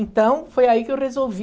Então, foi aí que eu resolvi...